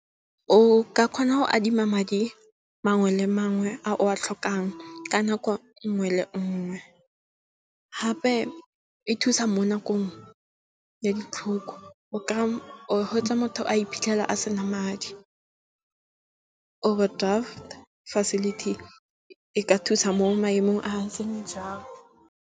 O ka kgona go adima madi mangwe le mangwe a o a tlhokang ka nako nngwe le nngwe. Gape e thusa mo nakong ya di tlhoko, o gwetsa motho a ipitlhela a sena madi. Overdraft facility e ka thusa mo maemong a a seng jwalo.